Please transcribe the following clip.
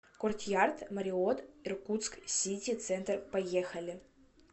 кортъярд марриотт иркутск сити центр поехали